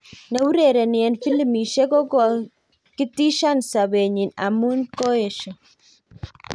Ne urereni en filimbishek kokokitishan sapetnyi amun keyes